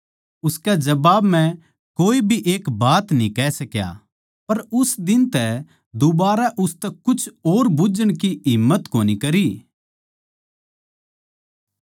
उसके जवाब म्ह कोए भी एक बात न्ही कह सका पर उस दिन तै दूबारै उसतै कुछ और बुझ्झण की हिम्मत कोनी करी